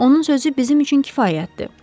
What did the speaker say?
Onun sözü bizim üçün kifayətdir.